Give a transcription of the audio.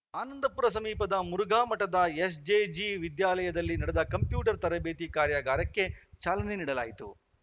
ಆನಂದಪುರ ಸಮೀಪದ ಮುರುಘಾಮಠದ ಎಸ್‌ಜೆಜಿ ವಿದ್ಯಾಲಯದಲ್ಲಿ ನಡೆದ ಕಂಪ್ಯೂಟರ್‌ ತರಬೇತಿ ಕಾರ್ಯಾಗಾರಕ್ಕೆ ಚಾಲನೆ ನೀಡಲಾಯಿತು